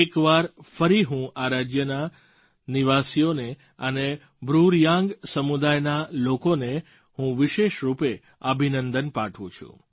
એક વાર ફરી હું આ રાજ્યોના નિવાસીઓ અને બ્રૂ રિયાંગ સમુદાયના લોકોને હું વિશેષ રૂપે અભિનંદન પાઠવું છું